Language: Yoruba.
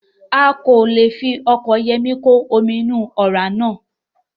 Wọn kò le fi ọkọ̀ Yọ̀mí kò àwọn omi inú ọ̀rá náà